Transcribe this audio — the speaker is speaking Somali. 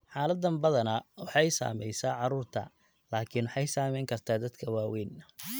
Xaaladdan badanaa waxay saamaysaa carruurta, laakiin waxay saameyn kartaa dadka waaweyn.